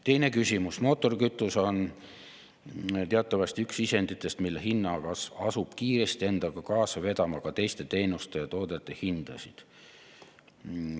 Teine küsimus: "Mootorikütus on teatavasti üks nendest sisenditest, mille hinna kasv asub kiiresti endaga kaasa vedama ka teiste teenuste ja toodete hindasid.